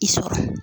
I sɔrɔ